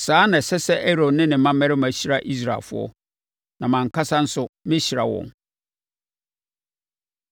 “Saa na ɛsɛ sɛ Aaron ne ne mmammarima hyira Israelfoɔ, na mʼankasa nso mɛhyira wɔn.”